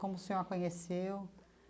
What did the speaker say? Como o senhor a conheceu?